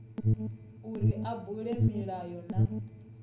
uri a bule milayo na